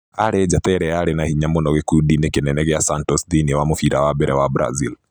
Aarĩ njata ĩrĩa yarĩ na hinya mũno gĩkundi-inĩ kĩnene kĩa Santos thĩinĩ wa mũbira wa mbere wa Brazil.